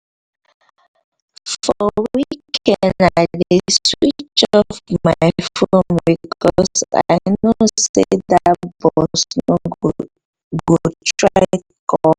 for weekend i dey switch off my phone because i know say dat my boss go try call me